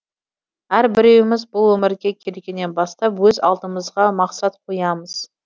әрбіреуіміз бұл өмірге келгеннен бастап өз алдымызға мақсат қоямыз